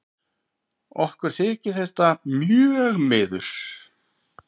Okkur þykir þetta mjög miður.